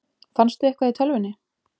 Fannstu eitthvað í tölvunni?